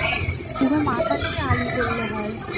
শুধু মাথাটাই আলু করলে হয়